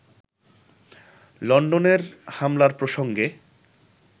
লন্ডনের হামলার প্রসঙ্গে